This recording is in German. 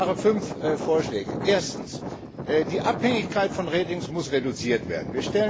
Ich mache fünf Vorschläge Erstens, die Abhängigkeit von Ratings muss reduziert werden.